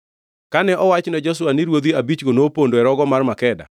Kane owach ne Joshua ni ruodhi abichgo nopondo e rogo mar Makeda,